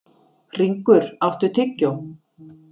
Hringur, áttu tyggjó?